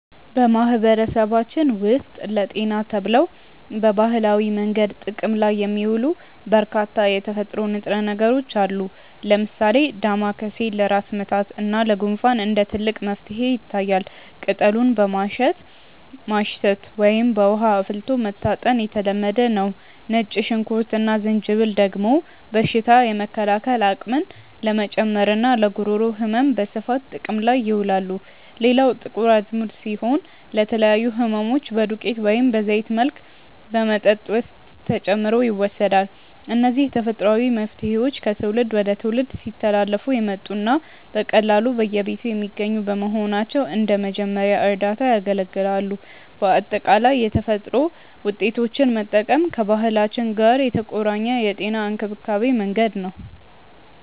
በማህበረሰባችን ውስጥ ለጤና ተብለው በባህላዊ መንገድ ጥቅም ላይ የሚውሉ በርካታ የተፈጥሮ ንጥረ ነገሮች አሉ። ለምሳሌ ዳማከሴ ለራስ ምታት እና ለጉንፋን እንደ ትልቅ መፍትሄ ይታያል፤ ቅጠሉን በማሸት ማሽተት ወይም በውሃ አፍልቶ መታጠን የተለመደ ነው። ነጭ ሽንኩርት እና ዝንጅብል ደግሞ በሽታ የመከላከል አቅምን ለመጨመርና ለጉሮሮ ህመም በስፋት ጥቅም ላይ ይውላሉ። ሌላው ጥቁር አዝሙድ ሲሆን፣ ለተለያዩ ህመሞች በዱቄት ወይም በዘይት መልክ በመጠጥ ውስጥ ተጨምሮ ይወሰዳል። እነዚህ ተፈጥሯዊ መፍትሄዎች ከትውልድ ወደ ትውልድ ሲተላለፉ የመጡና በቀላሉ በየቤቱ የሚገኙ በመሆናቸው እንደ መጀመሪያ እርዳታ ያገለግላሉ። በአጠቃላይ የተፈጥሮ ውጤቶችን መጠቀም ከባህላችን ጋር የተቆራኘ የጤና እንክብካቤ መንገድ ነው።